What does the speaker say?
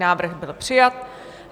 Návrh byl přijat.